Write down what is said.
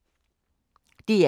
DR K